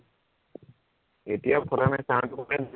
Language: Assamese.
এতিয়া ফটা নাই sound টো open